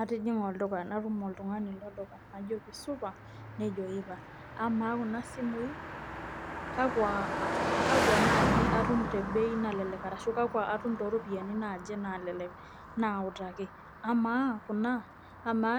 Atijinga olduka natum oltungani lolduka najoki supa nejo ipa ,amaa kuna simui kakua naaji atum te bei nalelek aashu kakua too ropiyiani naaje naalelek naautaki, amaa kuna ama